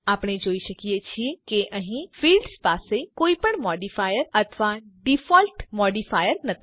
આપણે જોઈ શકીએ છીએ કે અહીં ફિલ્ડ્સ પાસે કોઈપણ મોડિફાયર અથવા ડિફોલ્ટ મોડિફાયર નથી